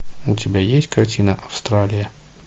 у тебя есть картина австралия